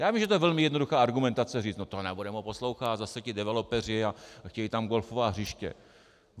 Já vím, že je to velmi jednoduchá argumentace říct: No to nebudeme ho poslouchat, zase ti developeři a chtějí tam golfová hřiště.